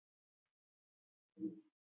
Bæði þekkjast vængjaðar og vænglausar tegundir.